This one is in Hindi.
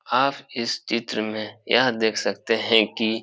आप इस चित्र में यह देख सकते हैं कि --